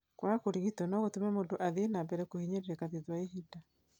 kwaga kũrigitwo no gũtũme mũndũ athiĩ na mbere kũhinyĩrĩrĩka thutha wa ihinda